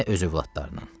Nə öz övladının.